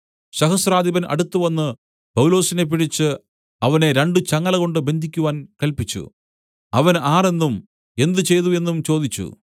സഹസ്രാധിപൻ അടുത്തുവന്ന് പൗലോസിനെ പിടിച്ച് അവനെ രണ്ടു ചങ്ങലകൊണ്ട് ബന്ധിയ്ക്കുവാൻ കല്പിച്ചു അവൻ ആർ എന്നും എന്ത് ചെയ്തു എന്നും ചോദിച്ചു